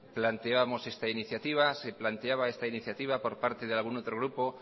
planteamos esta iniciativa se planteaba esta iniciativa por parte de algún otro grupo